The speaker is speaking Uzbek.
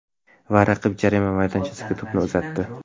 Va raqib jarima maydonchasiga to‘pni uzatdi.